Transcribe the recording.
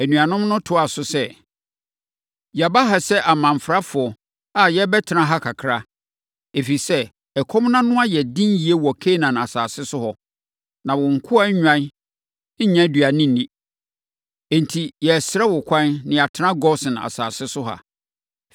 Anuanom no toaa so sɛ, “Yɛaba ha sɛ amamfrafoɔ a yɛrebɛtena ha kakra, ɛfiri sɛ, ɛkɔm no ano yɛ den yie wɔ Kanaan asase so hɔ, na wo nkoa nnwan nnya aduane nni. Enti, yɛresrɛ wo kwan na yɛatena Gosen asase so ha.”